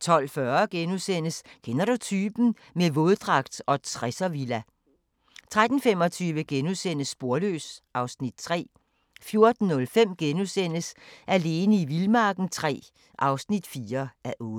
12:40: Kender du typen? - med våddragt og 60'er-villa * 13:25: Sporløs (Afs. 3)* 14:05: Alene i vildmarken III (4:8)*